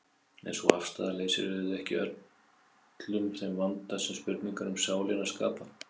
En sú afstaða leysir auðvitað ekki úr öllum þeim vanda sem spurningar um sálina skapa.